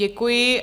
Děkuji.